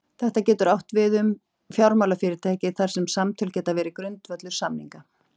þetta getur átt við um fjármálafyrirtæki þar sem samtöl geta verið grundvöllur samninga